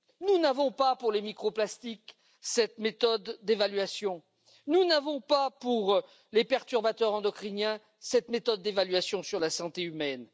Nous n'avons pas pour les microplastiques cette méthode d'évaluation, nous n'avons pas pour les perturbateurs endocriniens cette méthode d'évaluation sur la santé humaine.